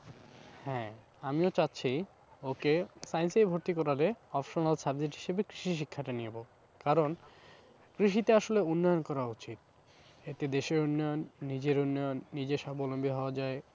হ্যাঁ, আমিও চাচ্ছি ওকে science এই ভর্তি করালে optional subject হিসাবে কৃষি শিক্ষাটা নেবো কারণ কৃষিতে আসলে উন্নয়ন করা উচিত এতে দেশের উন্নয়ন নিজের উন্নয়ন, নিজে স্বাবলম্বী হওয়া যায়।